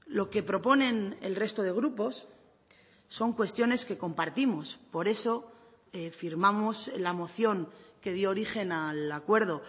lo que proponen el resto de grupos son cuestiones que compartimos por eso firmamos la moción que dio origen al acuerdo